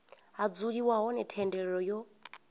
ha dzuliwa hone thendelo yo